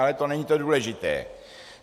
Ale to není to důležité.